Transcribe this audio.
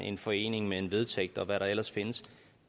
en forening med en vedtægt og hvad der ellers findes